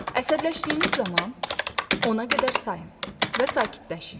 Əsəbləşdiyiniz zaman ona qədər sayın və sakitləşin.